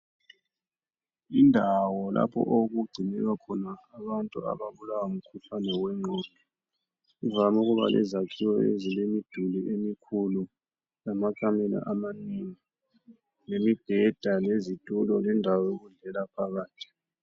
Indawo lapho okugcinelwa khona abantu abaulwa ngumkhuhlane wengqondo, kuvame ukuba lezakhiwo ezilemiduli emikhulu lamakamela amanengi lemibheda lendawo zokudlela phakathi.